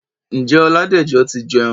Ǹjẹ́ Ọládẹ̀jọ ti jẹun?